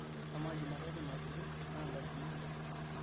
amaa jumatatu nasuju naa ntarikini aja